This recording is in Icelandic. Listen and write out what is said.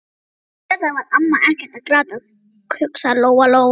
En auðvitað var amma ekkert að gráta, hugsaði Lóa-Lóa.